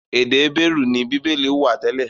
Èdè Hébérù ni Bíbélì wà tẹ́lẹ̀.